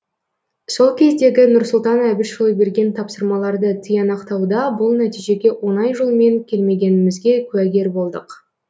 сол кездегі нұрсұлтан әбішұлы берген тапсырмаларды тиянақтауда бұл нәтижеге оңай жолмен келмегенімізге куәгер болдық